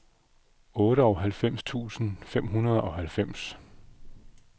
otteoghalvfems tusind fem hundrede og halvfems